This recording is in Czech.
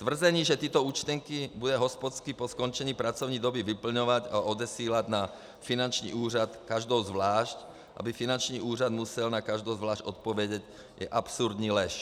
Tvrzení, že tyto účtenky bude hospodský po skončení pracovní doby vyplňovat a odesílat na finanční úřad každou zvlášť, aby finanční úřad musel na každou zvlášť odpovědět, je absurdní lež.